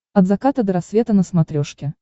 от заката до рассвета на смотрешке